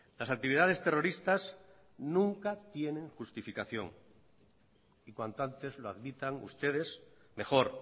las actividades terroristas nunca tienen justificación y cuanto antes lo admitan ustedes mejor